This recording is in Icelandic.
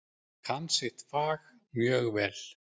Kann sitt fag mjög vel.